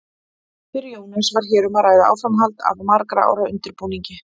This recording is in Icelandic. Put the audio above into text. Fyrir Jónas var hér um að ræða áframhald af margra ára undirbúningi.